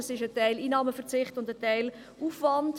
Das ist ein Teil Einnahmeverzicht und ein Teil Aufwand.